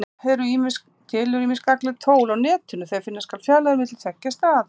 Til eru ýmis gagnleg tól á Netinu þegar finna skal fjarlægðir á milli tveggja staða.